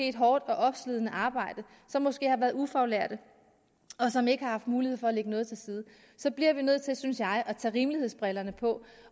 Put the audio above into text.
et hårdt og opslidende arbejde som måske har været ufaglærte og som ikke har haft mulighed for at lægge noget til side så bliver vi nødt til synes jeg at tage rimelighedsbrillerne på